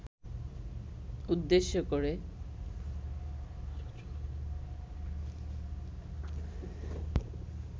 উদ্দেশ্য করে